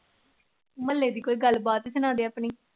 ਮਹੁੱਲੇ ਦੀ ਕੋਈ ਗੱਲ ਬਾਤ ਸਣਾ ਦੇ ਆਪਣੀ।